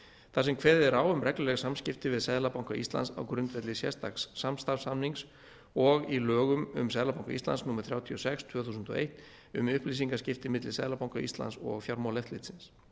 þar sem kveðið er á um regluleg samskipti við seðlabanka íslands á grundvelli sérstaks samstarfssamnings og í lögum um seðlabanka íslands númer þrjátíu og sex tvö þúsund og eitt um upplýsingaskipti milli seðlabanka íslands og fjármálaeftirlitsins